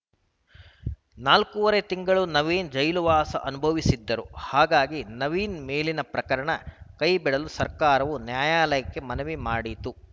ನಾಲ್ಕೂವರೆ ತಿಂಗಳು ನವೀನ್‌ ಜೈಲುವಾಸ ಅನುಭವಿಸಿದ್ದರು ಹಾಗಾಗಿ ನವೀನ್‌ ಮೇಲಿನ ಪ್ರಕರಣ ಕೈಬಿಡಲು ಸರ್ಕಾರವು ನ್ಯಾಯಾಲಯಕ್ಕೆ ಮನವಿ ಮಾಡಿತ್ತು